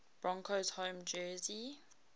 broncos home jersey